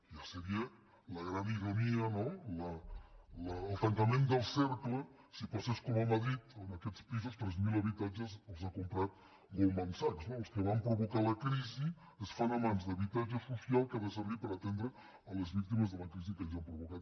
ja seria la gran ironia no el tancament del cercle si passés com a madrid on aquests pisos tres mil habitatges els ha comprat goldman sachs no els que van provocar la crisi es fan a mans d’habitatge social que ha de servir per atendre les víctimes de la crisi que ells han provocat